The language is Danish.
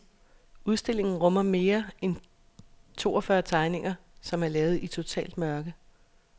Udstillingen rummer mere end toogfyrre tegninger, som er lavet i totalt mørke.